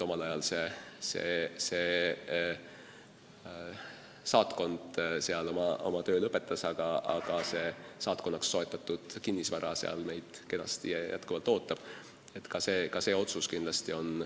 Omal ajal see saatkond oma töö lõpetas, aga saatkonnaks soetatud kinnisvara ootab meid seal kenasti.